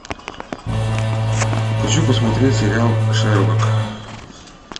хочу посмотреть сериал шерлок